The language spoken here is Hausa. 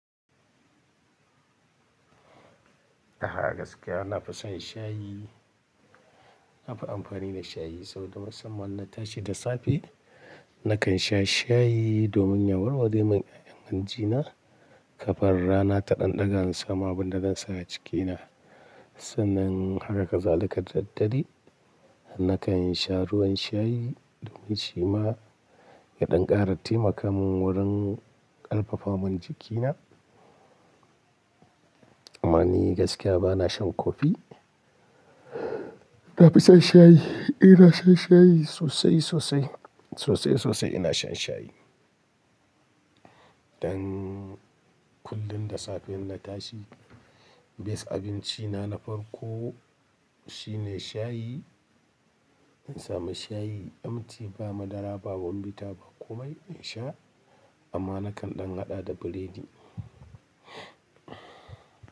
Aha gaskiya na fi son shayi. Na fi amfani da shayi saboda musamman na tashi da safe, nakan sha shayi domin ya warware mun yayan hanji na. Kafin rana ta ɗan ɗaga in sama abunda zansa a cikina sannan haka ka zali ka daddare, nakan sha ruwan shayi domin shi ma ya ɗan ƙara taimaka mun wurin ƙarfafaman jikina. Amma ni gaskiya ba na shan kofi. Na fi son shayi. Eh na shan shayi sosai, sosai, sosai, sosai ina shan shayi. Dan kullum da safe in na tashi, best abinci na na farko shine shayi. In samu shayi, emti ba madara ba, ba bombita ba komai, in sha. Amma nakan ɗan haɗa da biredi.